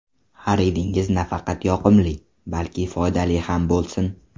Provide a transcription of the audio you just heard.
Xaridingiz nafaqat yoqimli, balki foydali ham bo‘lsin!